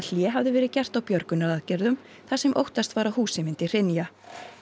hlé hafði verið gert á björgunaraðgerðum þar sem óttast var að húsið myndi hrynja